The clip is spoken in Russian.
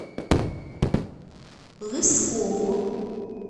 лысково